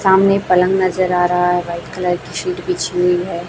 सामने पलंग नजर आ रहा है वाइट कलर की शीट बिछी हुई है।